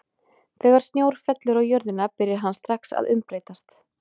Þegar snjór fellur á jörðina byrjar hann strax að umbreytast.